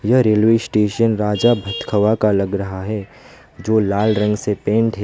यह railway station Raja Bhat Khawa का लग रहा है जो लाल रंग से पेंट है।